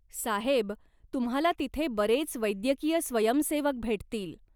साहेब तुम्हाला तिथे बरेच वैद्यकीय स्वयंसेवक भेटतील.